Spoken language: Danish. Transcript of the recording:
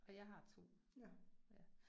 Og jeg har 2, ja